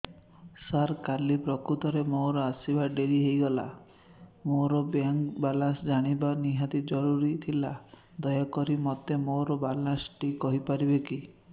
ସାର କାଲି ପ୍ରକୃତରେ ମୋର ଆସିବା ଡେରି ହେଇଗଲା ମୋର ବ୍ୟାଙ୍କ ବାଲାନ୍ସ ଜାଣିବା ନିହାତି ଜରୁରୀ ଥିଲା ଦୟାକରି ମୋତେ ମୋର ବାଲାନ୍ସ ଟି କହିପାରିବେକି